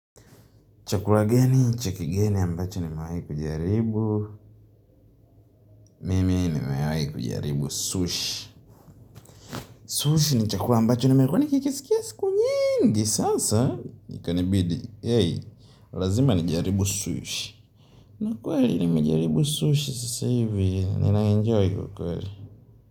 Chakula gani, cha kigeni ambacho nimewai kujaribu. Mimi nimewai kujaribu sushi. Sushi ni chakula ambacho nimekuwa nikikisikia siku nyingi sasa, ikanibidi, hey, lazima nijaribu sushi na kweli nimejaribu sushi sasa hivi, ninaenjoy ukweli.